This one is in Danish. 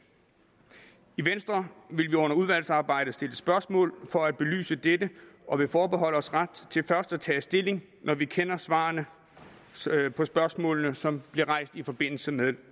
i venstre vil vi under udvalgsarbejdet stille spørgsmål for at få belyst dette og vil forbeholde os ret til først at tage stilling når vi kender svarene på spørgsmålene som bliver rejst i forbindelse med